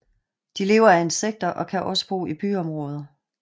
De lever af insekter og kan også bo i byområder